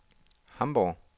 Hamborg